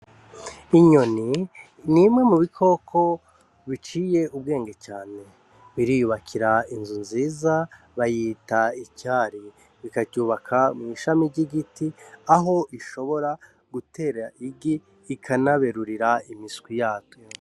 Inyoni n’imwe mu bikoko biciye ubwenge cane , biriyubakira inzu nziza bayita icari, bikaryubaka mw’ishami ry’igiti Aho bishobora gutera igi ikanaberurira imiswi yatwo.